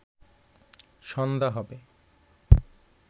সন্ধ্যা হবে